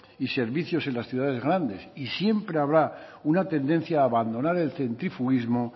y servicios en las ciudades grandes y siempre habrá una tendencia a abandonar el centrifuguismo